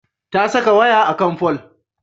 Ta saka waya a kan fol.